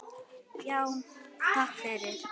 Já, takk fyrir.